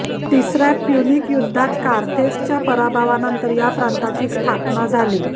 तिसऱ्या प्युनिक युद्धात कार्थेजच्या पराभवानंतर या प्रांताची स्थापना झाली